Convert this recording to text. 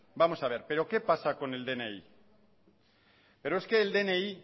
vamos a ver pero qué pasa con el dni pero es que el dni